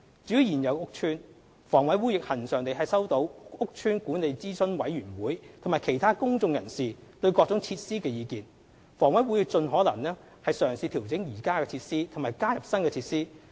至於現有屋邨，房委會亦恆常地收到屋邨管理諮詢委員會及其他公眾人士對各種設施的意見，房委會會盡可能嘗試調整現有設施及加入新設施。